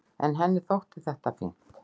En henni þótti þetta fínt.